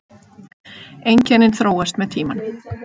Einkennin þróast með tímanum.